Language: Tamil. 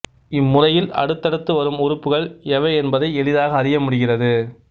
இம்முறையில் அடுத்தடுத்து வரும் உறுப்புகள் எவை என்பதை எளிதாக அறியமுடிகிறது